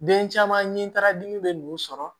Den caman ye baara dimi bɛ n'u sɔrɔ